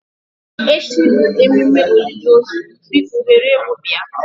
Echi bụ emume olili ozu biko were ewu bia.